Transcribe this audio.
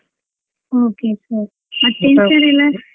Okay okay okay ಮತ್ತೆ .